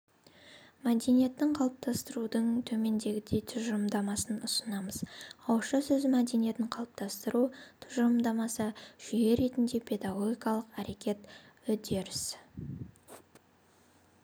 мәдениетін қалыптастырудың төмендегідей тұжырымдамасын ұсынамыз ауызша сөз мәдениетін қалыптастыру тұжырымдамасы жүйе ретінде педагогикалық әрекет үдеріс